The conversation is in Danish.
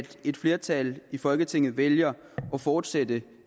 at et flertal i folketinget vælger at fortsætte